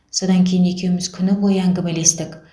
содан кейін екеуіміз күні бойы әңгімелестік